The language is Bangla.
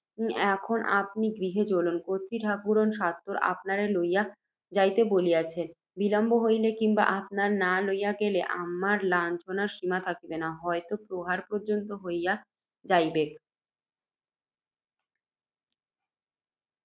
এখন আপনি গৃহে চলুন, কর্ত্রী ঠাকুরণ সত্বর আপনারে লইয়া যাইত বলিয়াছে, বিলম্ব হইলে, কিংবা আপনারে না লইয়া গেলে, আমার লাঞ্ছনার সীমা থাকিবে না, হয়ত, প্রহার পর্য্যন্ত হইয়া যাইবে।